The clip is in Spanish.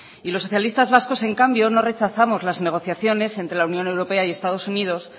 y los socialistas vascos en cambio no rechazamos las negociaciones entre la unión europea y estado unidos